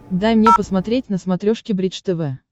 дай мне посмотреть на смотрешке бридж тв